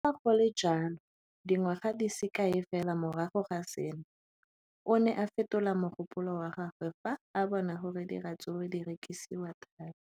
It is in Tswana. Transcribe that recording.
Le fa go le jalo, dingwaga di se kae fela morago ga seno, o ne a fetola mogopolo wa gagwe fa a bona gore diratsuru di rekisiwa thata.